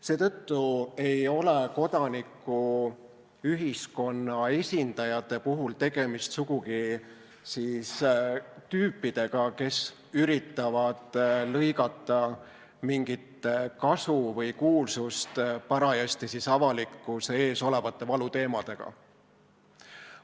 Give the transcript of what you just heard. Seetõttu ei ole kodanikuühiskonna esindajate puhul sugugi tegemist tüüpidega, kes üritavad lõigata mingit kasu või kuulsust parajasti avalikkuse ees olevate valuteemadega.